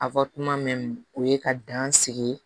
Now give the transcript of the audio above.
mɛn o ye ka dan sigi